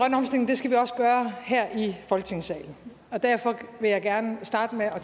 skal vi også gøre her i folketingssalen og derfor vil jeg gerne starte med at